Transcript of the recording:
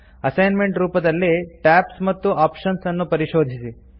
assignment ರೂಪದಲ್ಲಿ tabs ಮತ್ತು options ಅನ್ನು ಪರಿಶೋಧಿಸಿ